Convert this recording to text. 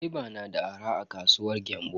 Gwaiba na arha a kasuwar Gembu.